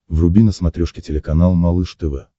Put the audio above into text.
вруби на смотрешке телеканал малыш тв